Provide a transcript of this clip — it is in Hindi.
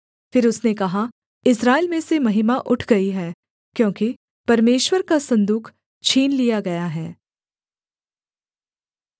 फिर उसने कहा इस्राएल में से महिमा उठ गई है क्योंकि परमेश्वर का सन्दूक छीन लिया गया है